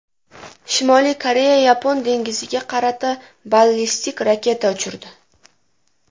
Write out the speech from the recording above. Shimoliy Koreya Yapon dengiziga qarata ballistik raketa uchirdi.